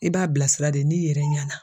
I b'a bilasira de n'i yɛrɛ ɲɛna.